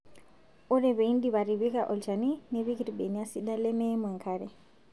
Ore pee idip atipika olchani nipik irbenia sidan lemeimu enkare